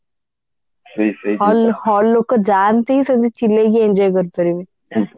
hall hall ଲୋକ ଯାଆନ୍ତି ସେମିତେ ଚିଲେଇକି enjoy କରିପାରିବେ